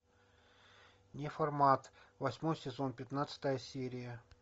неформат восьмой сезон пятнадцатая серия